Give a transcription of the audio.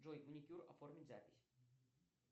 джой маникюр оформить запись